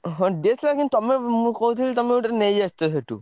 ହଁ DSLR କିନ୍ତୁ ତମେ ମୁଁ କହୁଥିଲି ତମେ ଗୋଟେ ନେଇ ଆସିଥିବ ସେଠୁ।